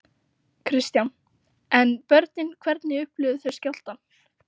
Kristján: En börnin hvernig upplifðu þau skjálftann?